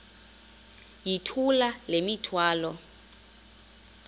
yithula le mithwalo